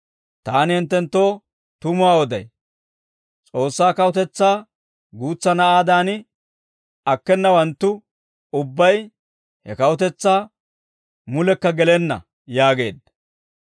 Taani hinttenttoo tumuwaa oday; S'oossaa kawutetsaa guutsa na'aadan akkenawanttu ubbay he kawutetsaa mulekka gelenna» yaageedda.